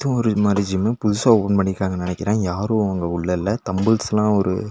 ஒரு மாரி ஜிம்மு புதுசா ஓப்பன் பண்ணி இருக்காங்கனு நெனைக்கறே யாரு அங்க உள்ள இல்ல தம்பிள்ஸ்லா ஒரு.